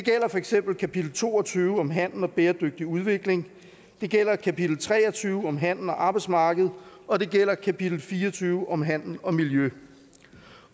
eksempel kapitel to og tyve om handel og bæredygtig udvikling det gælder kapitel tre og tyve om handel og arbejdsmarkedet og det gælder kapitel fire og tyve om handel og miljø